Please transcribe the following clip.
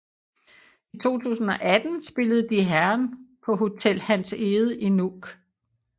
I 2018 spillede Die Herren på Hotel Hans Egede i Nuuk